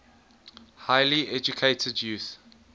highly educated youth